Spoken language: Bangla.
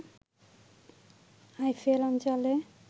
আইফেল অঞ্চলে